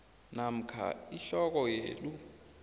namkha ihloko yelu